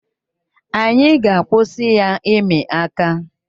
Anyị ga-akwụsị ya ịmị aka.